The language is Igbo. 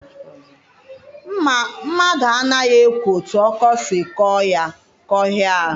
Mmadụ anaghị ekwo otu ọkọ siri kọọ ya kọhịa ahụ.